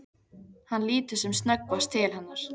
Hann lítur sem snöggvast til hennar.